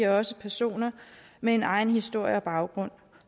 også personer med en egen historie og baggrund